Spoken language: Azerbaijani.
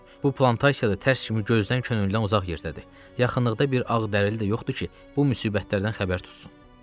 Bu plantasiya da tərs kimi gözdən könüldən uzaq yerdədir, yaxınlıqda bir ağdərili də yoxdur ki, bu müsibətlərdən xəbərdar tutsun.